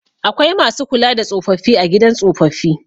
Akwai masu kula da tsofaffi a gidan tsofaffi.